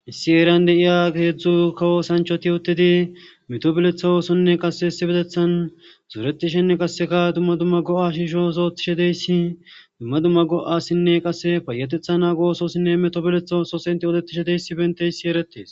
issi heeran de'iya keedzdzu kawo sanchoti yotedi meto biletha oosonne qase essi bedethan zuretishenne qasseka dumma dumma go7a shisho osotishe deyssi dumma dumma go7asinne qasse payetetha na goososinne meto beletha oosos inti odetishe deysi benteissi eretees